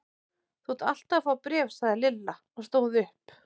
Þú ert alltaf að fá bréf sagði Lilla og stóð upp.